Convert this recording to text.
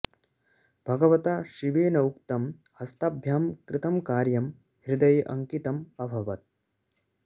भगवता शिवेन उक्तम् हस्ताभ्याम् कृतम् कार्यम् हृदये अङ्कितम् अभवत्